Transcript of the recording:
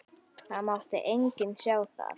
Það mátti enginn sjá það.